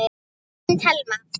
Þín Telma.